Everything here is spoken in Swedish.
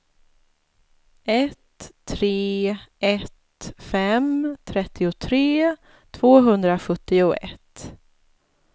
ett tre ett fem trettiotre tvåhundrasjuttioett